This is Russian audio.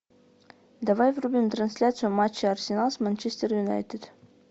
давай врубим трансляцию матча арсенал с манчестер юнайтед